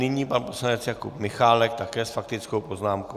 Nyní pan poslanec Jakub Michálek také s faktickou poznámkou.